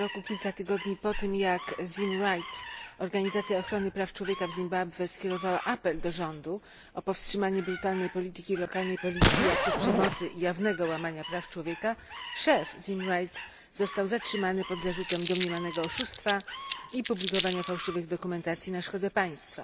kilka tygodni po tym, jak ZimRights, organizacja ochrony praw człowieka w Zimbabwe, skierowała apel do rządu o powstrzymanie brutalnej polityki lokalnej policji, aktów przemocy i jawnego łamania praw człowieka, szef ZimRights został zatrzymany pod zarzutem domniemanego oszustwa i publikowania fałszywej dokumentacji na szkodę państwa.